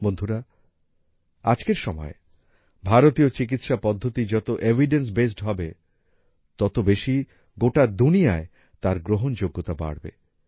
বন্ধুরা আজকের সময়ে ভারতীয় চিকিৎসা পদ্ধতি যত এভিডেন্স বেসড হবে তত বেশী গোটা দুনিয়ায় তার গ্রহণযোগ্যতা বাড়বে